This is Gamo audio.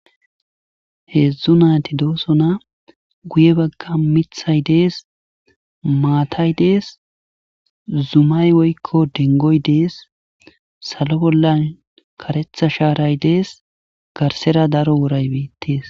heedzdzu naati dooso na guye bagga mithay dees maatay dees zumay woykko dengoy dees salo bolla karetha shaaray dees garsera daro woray beettees